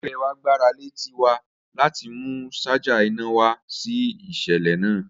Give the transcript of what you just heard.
Ẹgbẹ wa gbarale Tiwa lati mu ṣaja ina wa si iṣẹlẹ naa